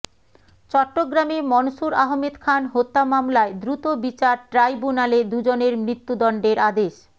চট্টগ্রামে মনসুর আহমেদ খান হত্যা মামলায় দ্রুত বিচার ট্রাইব্যুনালে দুজনের মৃত্যুদণ্ডের আদেশ